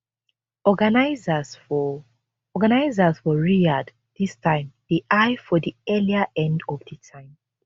organisers for organisers for riyadh dis time dey eye for di earlier end of di time